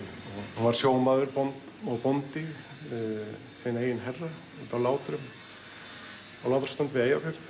hún var sjómaður og bóndi sinn eigin herra úti á Látrum á Látraströnd við Eyjafjörð